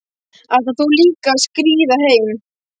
Ætlar þú líka að skríða heim?